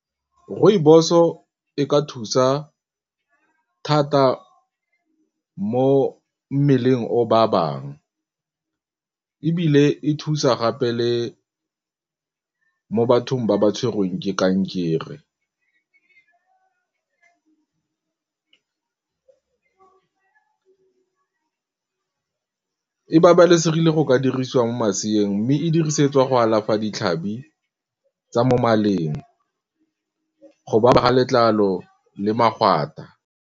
Rooibos o e ka thusa thata mo mmeleng o ba bang ebile e thusa gape le mo bathong ba ba tshwerweng ke kankere e babalesegile go ka dirisiwa mo maseeng mme e dirisetswa go alafa ditlhabi tsa mo maleng, go baba ga letlalo le .